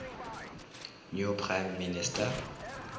new prime minister